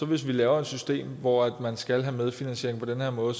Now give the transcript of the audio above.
vi laver et system hvor man skal have medfinansiering på den her måde